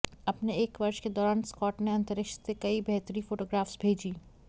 अपने एक वर्ष के दौरान स्कॉट ने अंतरिक्ष से कई बेहतरी फोटोग्राफ्स भेजीं